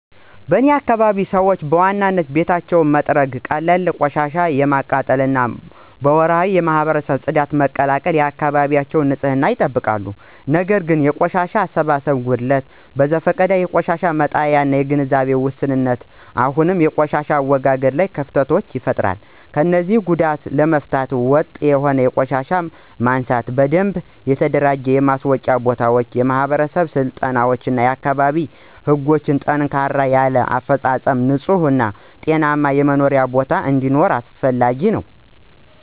በእኔ አካባቢ ሰዎች በዋናነት ቤታቸውን በመጥረግ፣ ቀላል ቆሻሻ በማቃጠል እና ወርሃዊ የማህበረሰብ ጽዳትን በመቀላቀል የአካባቢያቸውን ንፅህና ይጠብቃሉ። ነገር ግን የቆሻሻ አሰባሰብ ጉድለት፣ በዘፈቀደ የቆሻሻ መጣያ እና የግንዛቤ ውስንነት አሁንም በቆሻሻ አወጋገድ ላይ ክፍተቶችን ይፈጥራሉ። እነዚህን ጉዳዮች ለመፍታት ወጥ የሆነ የቆሻሻ ማንሳት፣ በደንብ የተደራጁ የማስወጫ ቦታዎች፣ የማህበረሰብ ስልጠናዎች እና የአካባቢ ህጎችን ጠንከር ያለ አፈፃፀም ንፁህ እና ጤናማ የመኖሪያ ቦታ እንዲኖር አስፈላጊ ናቸው።